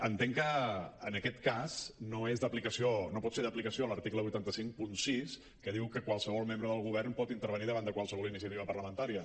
entenc que en aquest cas no és d’aplicació no pot ser d’aplicació l’article vuit cents i cinquanta sis que diu que qualsevol membre del govern pot intervenir davant de qualsevol iniciativa parlamentària